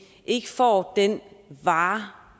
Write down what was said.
ikke får den vare